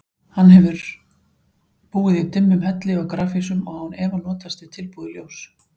Hann hefði búið í dimmum hellum og grafhýsum og án efa notast við tilbúið ljós.